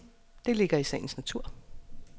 Det ligger i sagens natur.